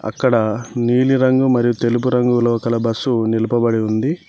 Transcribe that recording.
ఇక్కడ నీలిరంగు మరియు తెలుపు రంగులో కల బస్సు నిలపబడి ఉంది.